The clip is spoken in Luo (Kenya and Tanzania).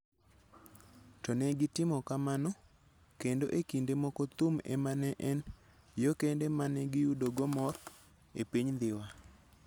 To ne gitimo kamano, kendo e kinde moko thum ema ne en yo kende ma ne giyudogo mor e piny Dhiwa.